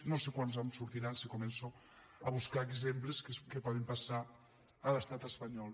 no sé quants me’n sortiran si començo a buscar exemples que poden passar a l’estat espanyol